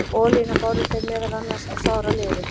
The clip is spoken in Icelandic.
Olíuna báru þeir meðal annars á sára liði.